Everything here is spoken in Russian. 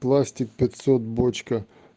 пластик пятьсот бочка